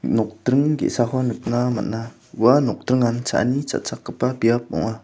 nokdring ge·sako nikna man·a ua nokdringan cha·ani cha·chakgipa biap ong·a.